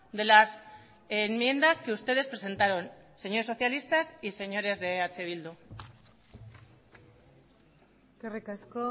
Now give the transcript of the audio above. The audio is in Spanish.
de las enmiendas que ustedes presentaron señores socialistas y señores de eh bildu eskerrik asko